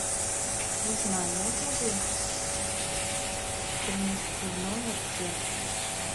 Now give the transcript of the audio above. узнай можно ли принести в номер фен